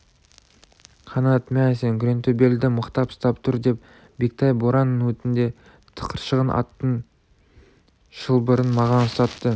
қанат мә сен күреңтөбелді мықтап ұстап тұр деп бектай боран өтінде тықыршыған аттың шылбырын маған ұстатты